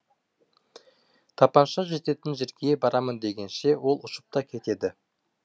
тапанша жететін жерге барамын дегенше ол ұшып та кетеді